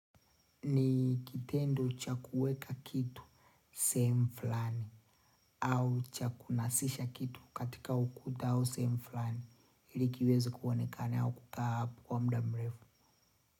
Ni kitendo cha kueka kitu sehemu fulani. Au cha kunasisha kitu katika ukuta au sehemu fulani ilikiweze kuonekana au kukaa hapo kwa muda mrefu.